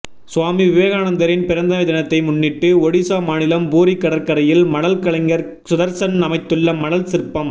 சுவாமி விவேகானந்தரின் பிறந்த தினத்தை முன்னிட்டு ஒடிசா மாநிலம் பூரி கடற்கரையில் மணல் கலைஞர் சுதர்சன் அமைத்துள்ள மணல் சிற்பம்